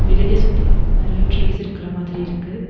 வெளிய சுத்தி நறையா ட்ரீஸ் இருக்குற மாதிரி இருக்கு.